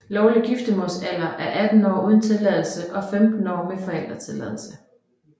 Lovlig giftemålsalder er 18 år uden tilladelse og 15 år med forældretilladelse